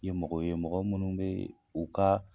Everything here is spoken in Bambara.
Ye mɔgɔ ye mɔgɔ minnu bɛ u ka